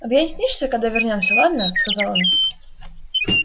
объяснишься когда вернёмся ладно сказал он